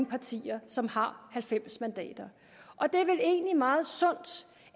partier som har halvfems mandater og det er vel egentlig meget sundt